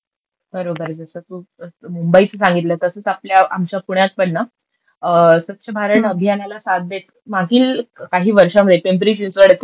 बरोबरये तुझ. तू मुंबईच सांगितलंस तसंच आपल्या यांच्या पुण्यात पण ना स्वच्छ भारत अभियानाला साथ देत मागील काही वर्षामध्ये पिंपरी चिंचवड येथे ना